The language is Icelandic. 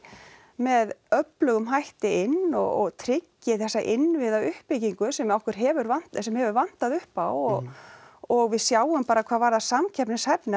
með öflugum hætti inn og tryggi þessa innviðauppbyggingu sem okkur hefur vantað sem hefur vantað upp á og og við sjáum bara hvað varðar samkeppnishæfni